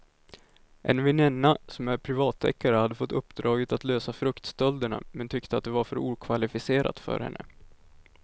En väninna som är privatdeckare hade fått uppdraget att lösa fruktstölderna men tyckte att det var för okvalificerat för henne.